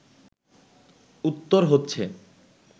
উত্তর হচ্ছে